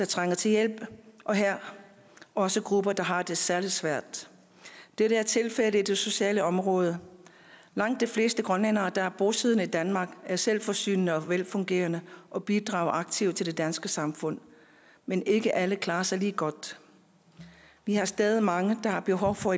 trænger til hjælp og her også grupper der har det særlig svært det er tilfældet på det sociale område langt de fleste grønlændere der er bosiddende i danmark er selvforsørgende og velfungerende og bidrager aktivt til det danske samfund men ikke alle klarer sig lige godt vi har stadig mange der har behov for